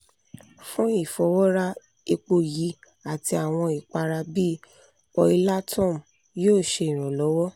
fun ifọwọra epo yii ati awọn ipara bii oilatum yoo ṣe iranlọwọ